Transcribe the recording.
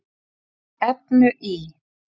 efnu í